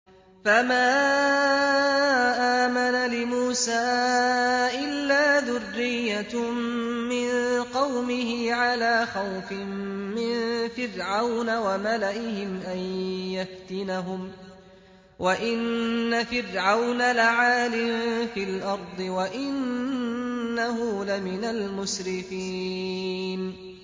فَمَا آمَنَ لِمُوسَىٰ إِلَّا ذُرِّيَّةٌ مِّن قَوْمِهِ عَلَىٰ خَوْفٍ مِّن فِرْعَوْنَ وَمَلَئِهِمْ أَن يَفْتِنَهُمْ ۚ وَإِنَّ فِرْعَوْنَ لَعَالٍ فِي الْأَرْضِ وَإِنَّهُ لَمِنَ الْمُسْرِفِينَ